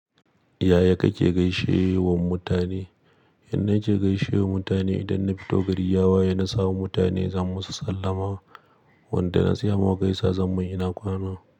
Yaya kake gaishe wa mutane? Yan da nake gaishe wa mutane idan na fito gari ya waye na samu mutane zan musu sallama, wanda na tsaya ma mu gaisa zan mun ina kwana.